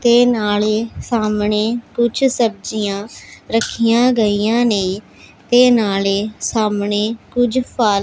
ਤੇ ਨਾਲੇ ਸਾਹਮਣੇ ਕੁਝ ਸਬਜੀਆਂ ਰੱਖੀਆਂ ਗਈਆਂ ਨੇ ਤੇ ਨਾਲੇ ਸਾਹਮਣੇ ਕੁਝ ਫਲ --